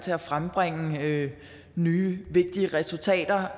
til at frembringe nye vigtige resultater